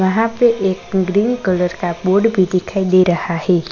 वहां पे एक ग्रीन कलर का बोर्ड भी दिखाई दे रहा है।